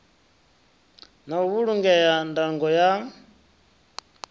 na u vhulungea ndango ya